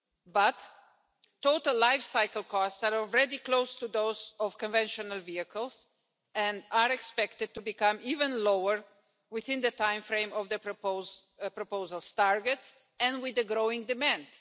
But total lifecycle costs are already close to those of conventional vehicles and are expected to become even lower within the time frame of the proposal's targets and with the growing demand.